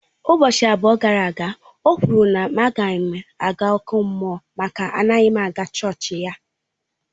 Ụbọchị abụọ gara aga, o kwuru na á ga m aga ọkụ mmụọ maka anaghị m aga chọọchị ya.